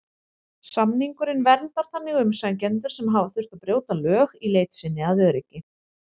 Samningurinn verndar þannig umsækjendur sem hafa þurft að brjóta lög í leit sinni að öryggi.